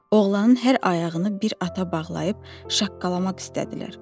Oğlanın hər ayağını bir ata bağlayıb şaqqalamaq istədilər.